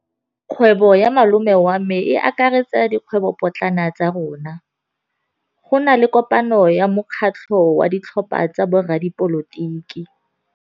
Kgwêbô ya malome wa me e akaretsa dikgwêbôpotlana tsa rona. Go na le kopanô ya mokgatlhô wa ditlhopha tsa boradipolotiki.